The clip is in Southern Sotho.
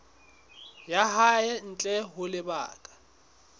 ya hae ntle ho lebaka